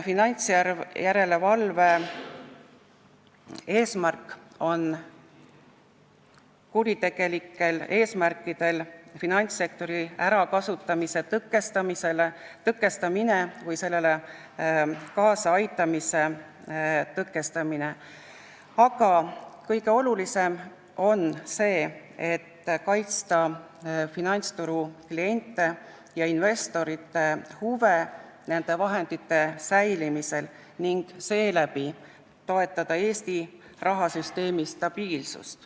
Finantsjärelevalve väga oluline eesmärk on tõkestada finantssektori ärakasutamist kuritegelikel eesmärkidel või sellele kaasaaitamist, aga kõige olulisem on kaitsta finantsturu klientide ja investorite huve vahendite säilimisel ning seeläbi toetada Eesti rahasüsteemi stabiilsust.